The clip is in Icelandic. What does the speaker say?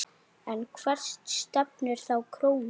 En hvert stefnir þá krónan?